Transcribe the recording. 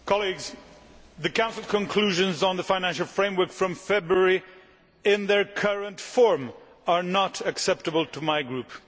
Mr President, colleagues, the Council conclusions on the financial framework from February in their current form are not acceptable to my Group.